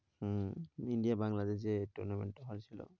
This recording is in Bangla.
হম India বাংলাদেশ যে tournament টা হয়েছিল।